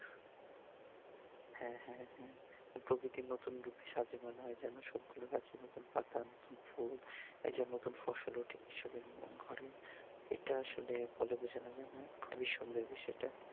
হ্যাঁ হ্যাঁ হ্যাঁ প্রকৃতি নতুন রূপে সাজে মনে হয় যেনো, সবগুলো গাছে নতুন পাতা নতুন ফুল এই যে নতুন ফসল ওঠে কৃষকের ঘরে এটা আসলে বলে বোঝানো যায় না খুব ই সুন্দর বিষয়টা